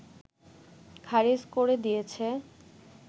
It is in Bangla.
খারিজ করে দিয়েছে